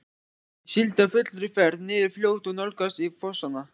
Ég sigldi á fullri ferð niður fljótið og nálgaðist fossana.